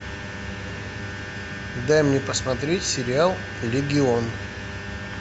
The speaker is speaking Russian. дай мне посмотреть сериал легион